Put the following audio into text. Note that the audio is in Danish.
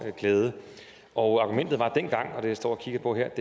glæde og argumentet var dengang det jeg står og kigger på her